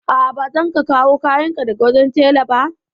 A'a, ba zan ka kawo kayan ka daga wajen tela ba.